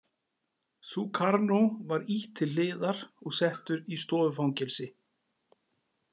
Sukarno var ýtt til hliðar og settur í stofufangelsi.